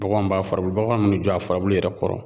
Baganw b'a furabulu baganw bi n'i jɔ a furabulu yɛrɛ kɔrɔ